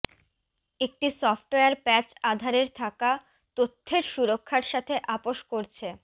একটি software patch আধারের থাকা তথ্যের সুরক্ষার সাথে আপস করছে